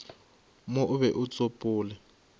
mo o be o tsopole